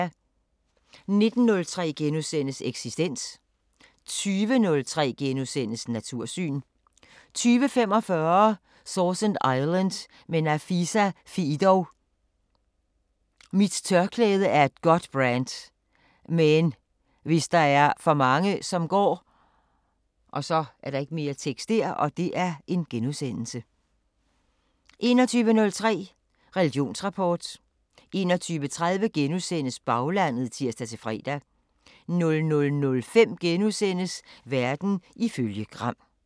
19:03: Eksistens * 20:03: Natursyn * 20:45: Sausan Island med Nafisa Fiidow: "Mit tørklæde er et godt brand. Men hvis der er for mange, som går * 21:03: Religionsrapport 21:30: Baglandet *(tir-fre) 00:05: Verden ifølge Gram *